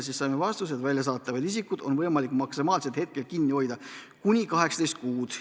Saime vastuse, et väljasaadetavat isikut on võimalik maksimaalselt kinni hoida 18 kuud.